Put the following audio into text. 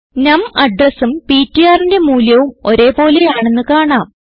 നം അഡ്രസും ptrന്റെ മൂല്യവും ഒരേ പോലെയാണെന്ന് കാണാം